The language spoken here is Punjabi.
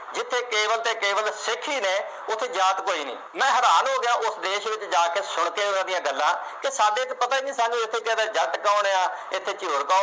ਉੱਥੇ ਕੇਵਲ ਅਤੇ ਕੇਵਲ ਸਿੱਖ ਹੀ ਨੇ, ਉੱਥੇ ਜਾਤ ਕੋਈ ਨਹੀਂ। ਮੈਂ ਹੈਰਾਨ ਹੋ ਗਿਆ ਉਸ ਦੇਸ਼ ਵਿੱਚ ਜਾ ਕੇ ਸੁਣ ਕੇ ਉਹਦੀਆਂ ਗੱਲਾਂ ਕਿ ਸਾਡੇ ਚ ਪਤਾ ਨਹੀਂ, ਸਾਨੂੰ ਜੱਟ ਕੌਣ ਹੈ, ਇੱਥੇ ਝਿਉਰ ਕੌਣ